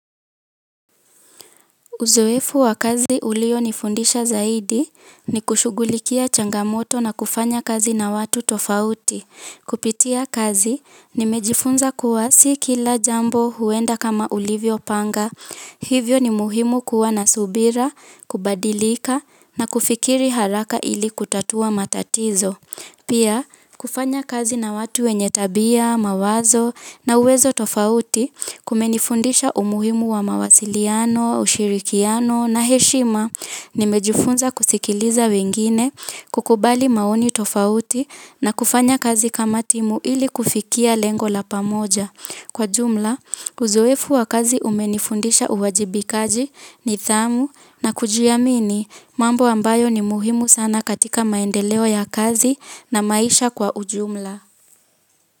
Uzoefu wa kazi ulionifundisha zaidi ni kushughulikia changamoto na kufanya kazi na watu tofauti. Kupitia kazi nimejifunza kuwa si kila jambo huenda kama ulivyopanga. Hivyo ni muhimu kuwa na subira kubadilika na kufikiri haraka ili kutatua matatizo pia, kufanya kazi na watu wenye tabia, mawazo na uwezo tofauti kumenifundisha umuhimu wa mawasiliano, ushirikiano na heshima nimejifunza kusikiliza wengine kukubali maoni tofauti na kufanya kazi kama timu ili kufikia lengo la pamoja. Kwa jumla, uzoefu wa kazi umenifundisha uwajibikaji nidhamu na kujiamini mambo ambayo ni muhimu sana katika maendeleo ya kazi na maisha kwa ujumla.